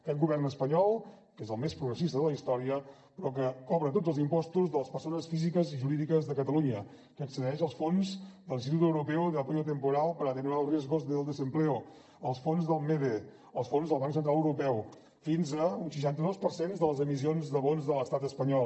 aquest govern espanyol que és el més progressista de la història però que cobra tots els impostos de les persones físiques i jurídiques de catalunya que accedeix als fons de l’instrumento europeo de apoyo temporal para atenuar los riesgos del desempleo als fons del mede als fons del banc central europeu fins a un seixanta dos per cent de les emissions de bons de l’estat espanyol